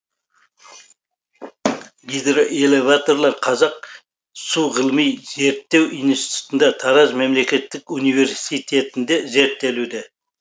гидроэлеваторлар қазақ су ғылыми зерттеу институтында тараз мемлекеттік университетінде зерттелуде